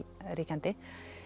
ríkjandi